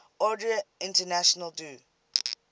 ordre national du